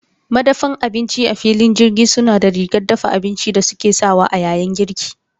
Madafa abinci a filin jirgi suna da rigar dafa abinci da suke sakawa a yayin girki.